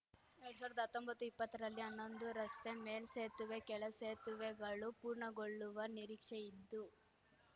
ಎರಡ್ ಸಾವಿರ್ದಾ ಹತ್ತೊಂಬತ್ತುಇಪ್ಪತ್ತರಲ್ಲಿ ಅನ್ನೊಂದು ರಸ್ತೆ ಮೇಲ್ಸೇತುವೆಕೆಳಸೇತುವೆಗಳು ಪೂರ್ಣಗೊಳ್ಳುವ ನಿರೀಕ್ಷೆಯಿದ್ದು